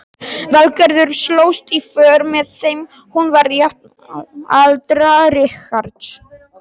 Valgerður slóst í för með þeim, hún var jafnaldra Richards.